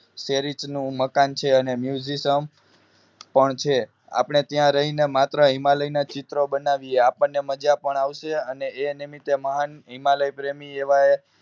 શેરી ઈચ મકાન છે અને Museam પણ છે આપણે ત્યાં રહીને માત્ર હિમાલય ના ચિત્રો બનાવીએ આપણે મજા પણ હશે એ નિમિતે મહાન હિમાલય પ્રેમી એવા